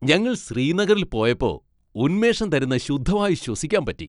ഞങ്ങൾ ശ്രീനഗറിൽ പോയപ്പോ ഉന്മേഷം തരുന്ന ശുദ്ധവായു ശ്വസിക്കാൻ പറ്റി.